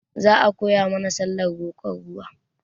Za a koya mana sallah roƙon ruwa